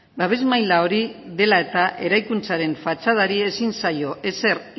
babes maila hori dela eta eraikuntzaren fatxadari ezin zaio ezer